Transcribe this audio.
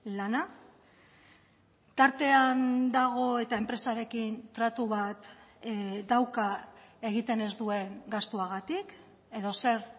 lana tartean dago eta enpresarekin tratu bat dauka egiten ez duen gastuagatik edo zer